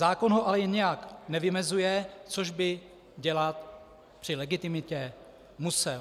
Zákon ho ale nijak nevymezuje, což by dělat při legitimitě musel.